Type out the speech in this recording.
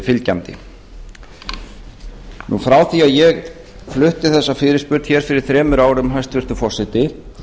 fylgjandi frá því að ég flutti þessa fyrirspurn hér fyrir þremur árum hæstvirtur forseti